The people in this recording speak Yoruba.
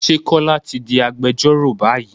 Ṣé Kọ́lá ti di agbẹjọ́rò báyìí?